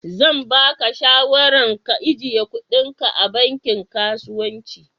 Zan ba ka shawaran ka ijiye kuɗin ka a banki kasuwanci.